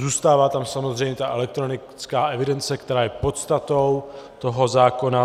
Zůstává tam samozřejmě ta elektronická evidence, která je podstatou toho zákona.